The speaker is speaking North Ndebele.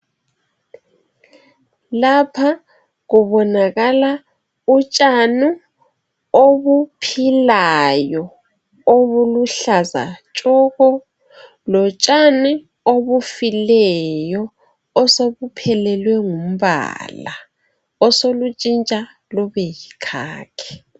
lapha kubonakala utshani obuphilayo obubuhlaza tshoko lotshani obufileyo obusobuphelelwe ngumbala osobutshintsha bube yikhakhi